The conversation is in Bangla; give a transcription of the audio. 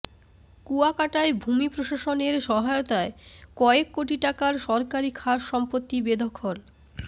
কুয়াকাটায় ভূমি প্রশাসনের সহায়তায় কয়েক কোটি টাকার সরকারী খাস সম্পত্তি বেদখল